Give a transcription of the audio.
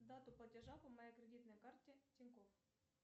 дату платежа по моей кредитной карте тинькофф